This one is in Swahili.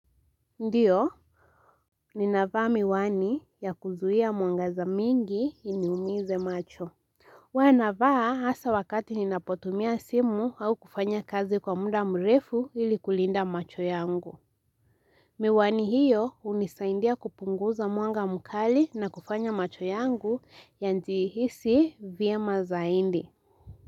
Ndiyo, ni navaa miwani ya kuzuhia mwangaza mingi iniumize macho. Huwa na vaa hasa wakati ninapotumia simu au kufanya kazi kwa muda mrefu ili kulinda macho yangu. Miwani hiyo hunisaidia kupunguza mwanga mkali na kufanya macho yangu yajihisi vyema zaindi.